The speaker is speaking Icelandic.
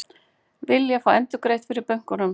Vilja fá endurgreitt frá bönkunum